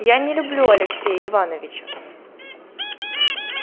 я не люблю алексея ивановича